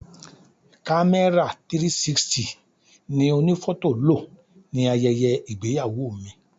Kamera 360 ni onifoto lo ní ayẹyẹ ìgbéyàwó mi.